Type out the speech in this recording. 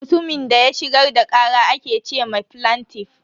Mutumin da ya shigar da kara ake ce ma flantiff.